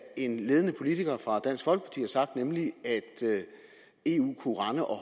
en ledende politiker fra dansk folkeparti har sagt nemlig at eu kunne rende og